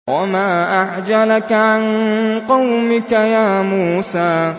۞ وَمَا أَعْجَلَكَ عَن قَوْمِكَ يَا مُوسَىٰ